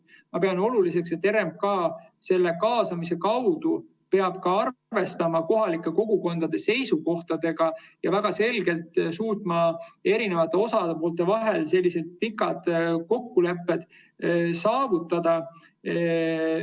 Ma pean oluliseks, et RMK peab kaasamise kaudu arvestama kohalike kogukondade seisukohtadega ja väga selgelt suutma eri osapoolte vahel selliseid pikki kokkuleppeid saavutada.